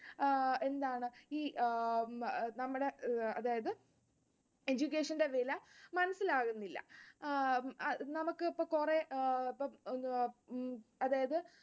ആഹ് എന്താണ്? ഈ നമ്മുടെ അതായത് education ന്റെ വില മനസ്സിലാകുന്നില്ല. ആഹ് നമുക്ക് ഇപ്പൊ കുറെ അതായത്